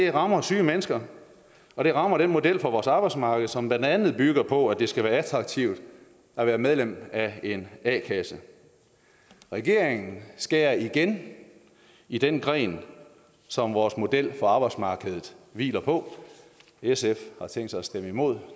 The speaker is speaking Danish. rammer syge mennesker og det rammer den model for vores arbejdsmarked som blandt andet bygger på at det skal være attraktivt at være medlem af en a kasse regeringen skærer igen i den gren som vores model for arbejdsmarkedet hviler på sf har tænkt sig at stemme imod